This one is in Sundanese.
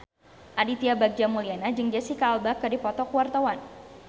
Aditya Bagja Mulyana jeung Jesicca Alba keur dipoto ku wartawan